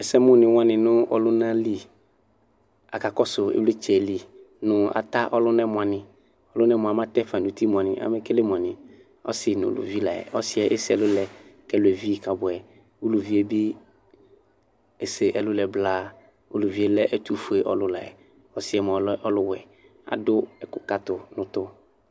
Ɛsɛmʋni wani nʋ ɔlʋnali aka kɔsʋ ivlitsɛli mʋ ata ɔlʋna yɛ mʋani ɔlunɛ mʋa atɛfa nʋ uti mʋani alekele mʋani ɔsi nʋ ʋlvvi layɛ ɔsi yɛ ese ɛlʋlɛ kʋ ɛlʋɛ evi kabʋɛ ʋvi yɛbi ese ɛlʋ lɛ blaa ʋlʋvi yɛlɛ ɛtʋfue ɔlʋlɛ ɔsi yɛlɛ ɔlʋwɛ kʋ adʋ ɛkʋkatʋ nʋ utu